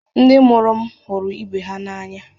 Ndị mụrụ m hụrụ ibe ha n’anya